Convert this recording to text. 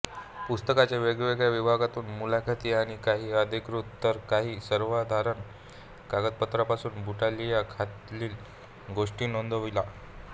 पुस्तकाच्या वेगवेगळ्या विभागातुन मुलाखती आणि काही अधिकृत तर काही सर्वसाधारण कागदपत्रातून बुटालिया खालील गोष्टी नोंदविता